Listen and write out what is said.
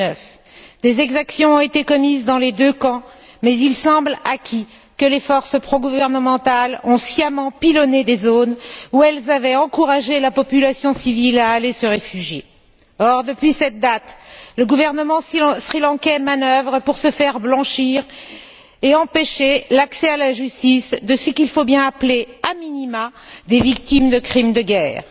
2009. Des exactions ont été commises dans les deux camps, mais il semble acquis que les forces progouvernementales ont sciemment pilonné des zones où elles avaient encouragé la population civile à aller se réfugier. Or, depuis cette date, le gouvernement du Sri Lanka manœuvre pour se faire blanchir et empêcher l'accès à la justice de ce qu'il faut bien appeler a minima des victimes de crimes de guerre.